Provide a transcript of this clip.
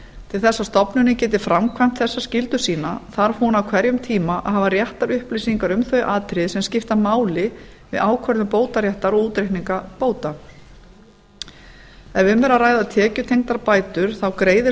til þess að stofnunin geti framkvæmt þessa skyldu saman þarf hún á hverjum tíma að hafa réttar upplýsingar um þau atriði sem skipta máli við ákvörðun bótaréttar og útreikninga bóta ef um er að ræða tekjutengdar bætur þá greiðir